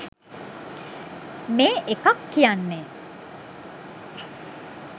මේ එකක් කියන්නෙ